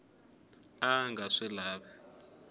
a a nga swi lavi